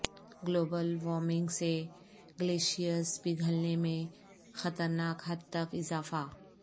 global warming سے glaciers پگھلنے میں خطرناک حد تک اضافہ